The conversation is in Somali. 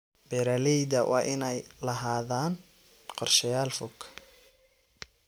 Beeralayda waa inay lahaadaan qorshayaal fog.